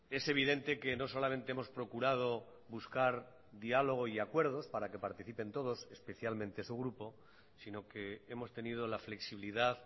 es evidente que no solamente hemos procurado buscar diálogo y acuerdos para que participen todos especialmente su grupo sino que hemos tenido la flexibilidad